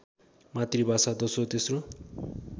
मातृभाषा दोस्रो तेश्रो